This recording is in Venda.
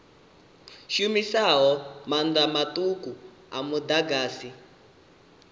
shumisaho maanḓa maṱuku a muḓagasi